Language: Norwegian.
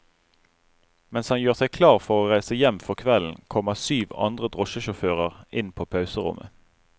Mens han gjør seg klar for å reise hjem for kvelden, kommer syv andre drosjesjåfører inn på pauserommet.